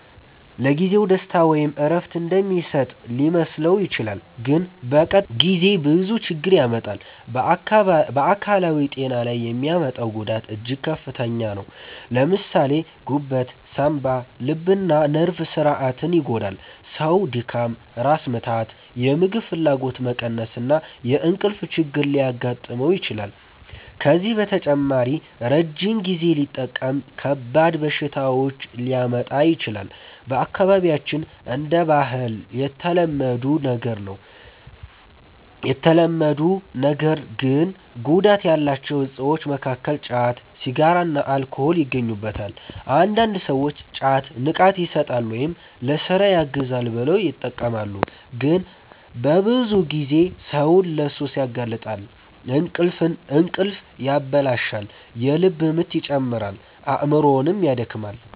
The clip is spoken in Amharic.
ለጊዜው ደስታ ወይም እረፍት እንደሚሰጥ ሊመስለው ይችላል፣ ግን በቀጣይ ጊዜ ብዙ ችግር ያመጣል። በአካላዊ ጤና ላይ የሚያመጣው ጉዳት እጅግ ከፍተኛ ነው። ለምሳሌ ጉበት፣ ሳንባ፣ ልብና ነርቭ ስርዓትን ይጎዳል። ሰው ድካም፣ ራስ ምታት፣ የምግብ ፍላጎት መቀነስ እና የእንቅልፍ ችግር ሊያጋጥመው ይችላል። ከዚህ በተጨማሪ ረጅም ጊዜ ሲጠቀም ከባድ በሽታዎች ሊያመጣ ይችላል። በአካባቢያችን እንደ ባህል የተለመዱ ነገር ግን ጉዳት ያላቸው እፆች መካከል ጫት፣ ሲጋራና አልኮል ይገኙበታል። አንዳንድ ሰዎች ጫት “ንቃት ይሰጣል” ወይም “ለሥራ ያግዛል” ብለው ይጠቀማሉ፣ ግን በብዙ ጊዜ ሰውን ለሱስ ያጋልጣል። እንቅልፍ ያበላሻል፣ የልብ ምት ይጨምራል፣ አእምሮንም ያደክማል።